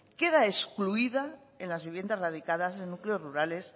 queda excluida en las viviendas radicadas en núcleos rurales